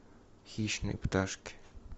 хищные пташки